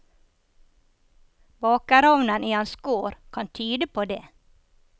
Bakerovnen i hans gård kan tyde på det.